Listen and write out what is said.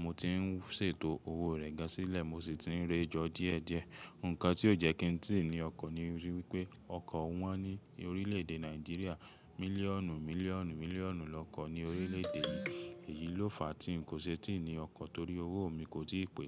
Mo ti ń ṣètò owó rẹ̀ gán sílẹ̀ mo sì ti ń rẹjọ díẹ̀ díẹ̀. Nǹkan tí ó jẹ́ kí n ti ní ọkọ̀ ni wípé ọkọ̀ wọ́n ní orílẹ̀ èdè Nàìjíríà mílíọ̀nù mílíọ̀nù mílíọ̀nù lọ́kọ̀ ní orílẹ̀ èdè yìí. Èyí ló fà tí ń kò ṣe tí ní ọkọ̀, torí owó mi kò tì pé.